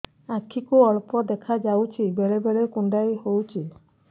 ଆଖି କୁ ଅଳ୍ପ ଦେଖା ଯାଉଛି ବେଳେ ବେଳେ କୁଣ୍ଡାଇ ହଉଛି